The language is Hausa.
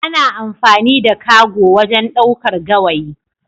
Ana amfani da cargo wajen ɗaukar gawayi.